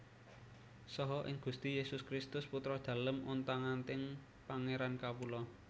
Saha ing Gusti Yesus Kristus Putra Dalem ontang anting Pangeran kawula